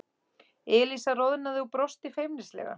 Elísa roðnaði og brosti feimnislega.